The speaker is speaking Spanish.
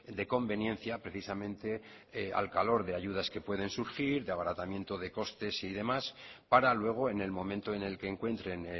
de conveniencia precisamente al calor de ayudas que pueden surgir de abaratamiento de costes y demás para luego en el momento en el que encuentren